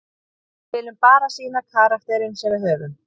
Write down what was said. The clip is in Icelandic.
Við viljum bara sýna karakterinn sem við höfum.